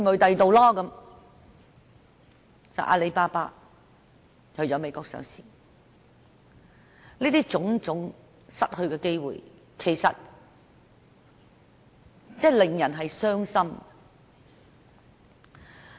結果阿里巴巴在美國上市，這種種失去的機會，的確令人傷心。